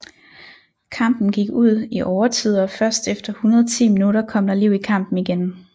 Kampen gik ud i overtid og først efter 110 minutter kom der liv i kampen igen